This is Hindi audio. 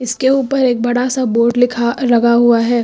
के ऊपर एक बड़ा सा बोड लिखा लगा हुआ है।